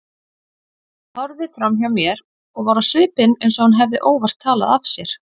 Horfði framhjá mér og var á svipinn eins og hún hefði óvart talað af sér.